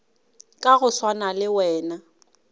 ka go swana le wena